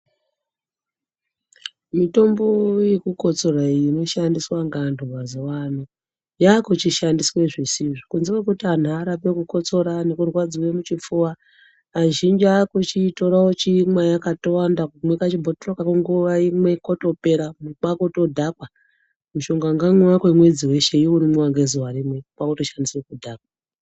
Mitombo iyi yekukotsora inoshandiswa ngevantu mazuwa ano, yakuchishandiswa zvisizvo. Kunze kwekuti anhu arape chikosoro kana kurwadziwa muchifuva. Azhinji akuchiitora kwakuchimwa yakatowanda, kumwa kabhotoro nguwa imwe kotopera kwakudhakwa. Mushonga unomwiwa kwemwedzi weshe, wakumwiwa ngezuwa rimwe kwakutoshandisa kudhakwa.